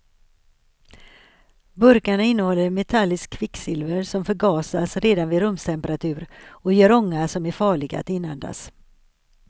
Burkarna innehåller metalliskt kvicksilver, som förgasas redan vid rumstemperatur och ger ånga som är farlig att inandas.